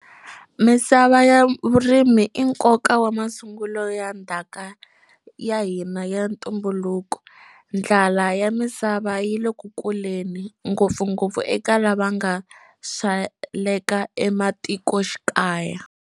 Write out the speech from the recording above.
Misava ya vurimi i nkoka wa masungulo ya ndhaka ya hina ya ntumbuluko. Ndlala ya misava yi le ku kuleni, ngopfungopfu eka lava va nga sweleka ematikoxikaya.